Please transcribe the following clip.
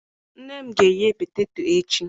Nne m ga-eghe poteto echi.